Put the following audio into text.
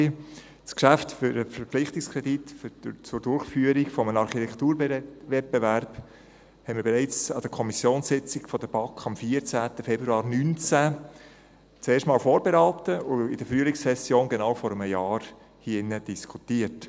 der BaK. Das Geschäft für den Verpflichtungskredit für die Durchführung eines Architekturwettbewerbs haben wir bereits an der Kommissionssitzung der BaK vom 14. Februar 2019 zum ersten Mal vorberaten und in der Frühlingssession, genau vor einem Jahr, hier diskutiert.